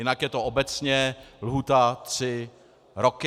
Jinak je to obecně lhůta tři roky.